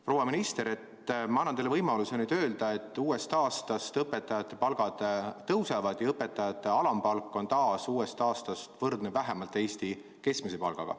Proua minister, ma annan teile võimaluse nüüd öelda, et uuest aastast õpetajate palgad tõusevad ja et õpetajate alampalk on taas uuest aastast võrdne vähemalt Eesti keskmise palgaga.